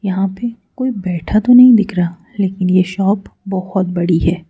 यहां पे कोई बैठा तो नहीं दिख रहा लेकिन ये शॉप बहुत बड़ी है।